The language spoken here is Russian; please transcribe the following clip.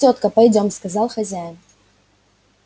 тётка пойдём сказал хозяин